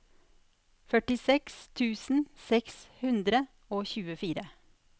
førtiseks tusen seks hundre og tjuefire